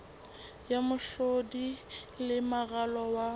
ya mehlodi le moralo wa